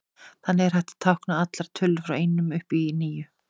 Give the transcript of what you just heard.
Þannig er hægt að tákna allar tölur frá einum upp í níu.